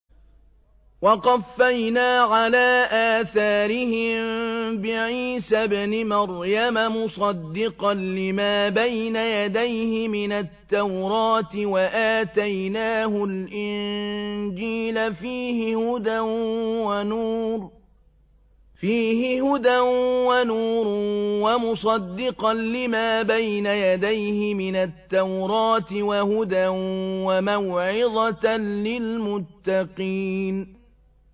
وَقَفَّيْنَا عَلَىٰ آثَارِهِم بِعِيسَى ابْنِ مَرْيَمَ مُصَدِّقًا لِّمَا بَيْنَ يَدَيْهِ مِنَ التَّوْرَاةِ ۖ وَآتَيْنَاهُ الْإِنجِيلَ فِيهِ هُدًى وَنُورٌ وَمُصَدِّقًا لِّمَا بَيْنَ يَدَيْهِ مِنَ التَّوْرَاةِ وَهُدًى وَمَوْعِظَةً لِّلْمُتَّقِينَ